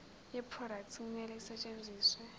yeproduct kumele isetshenziswe